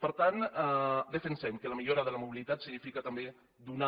per tant defensem que la millora de la mobilitat significa també donar